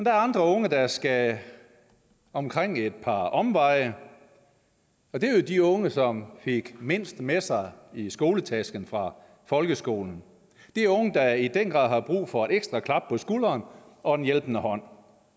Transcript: er andre unge der skal omkring et par omveje og det er jo de unge som fik mindst med sig i skoletasken fra folkeskolen det er unge der i den grad har brug for et ekstra klap på skulderen og en hjælpende hånd